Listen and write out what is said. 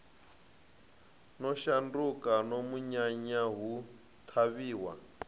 no shanduka munyanya hu ṱhavhiwa